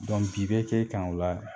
bin bɛ kɛ ɛ kan o la